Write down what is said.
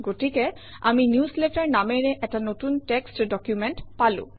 গতিকে আমি নিউজলেটাৰ নামেৰে এটা নতুন টেক্সত ডকুমেণ্ট পালো